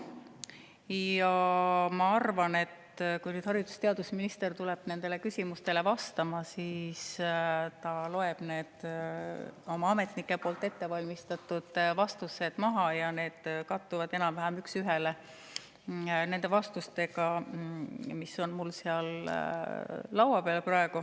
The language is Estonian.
Ja ma arvan, et kui haridus‑ ja teadusminister tuleb küsimustele vastama, siis ta loeb oma ametnike ettevalmistatud vastused maha ja need kattuvad enam-vähem üks ühele nende vastustega, mis on mul praegu seal laua peal.